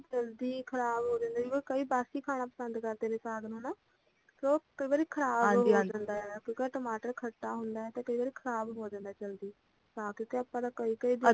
ਜ਼ਲਦੀ ਖ਼ਰਾਬ ਹੋ ਜਾਂਦੇ ਕਈ ਬਾਸੀ ਖਾਣਾ ਪਸੰਦ ਕਰਦੇ ਨੇ ਨਾ ਸਾਗ ਨੂੰ ਨਾ ਕਿਉਂਕਿ ਕਈ ਵਾਰ ਖ਼ਰਾਬ ਹੋ ਜਾਂਦਾ ਆ ਕਿਉਕਿ ਟਮਾਟਰ ਖੱਟਾ ਹੁੰਦਾ ਆ ਤੇ ਕਈ ਵਾਰੀ ਖ਼ਰਾਬ ਹੋ ਜਾਂਦਾ ਜਲਦੀ ਤਾਂ ਕਰਕੇ ਆਪਾਂ ਤਾਂ ਕਈ ਕਈ ਦਿਨਾਂ ਤੱਕ